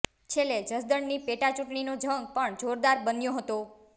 છેલ્લે જસદણની પેટાચૂંટણીનો જંગ પણ જોરદાર બન્યો હતો